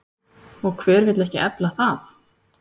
Og hver vill ekki efla það?